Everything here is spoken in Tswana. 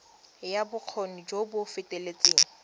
ya bokgoni jo bo feteletseng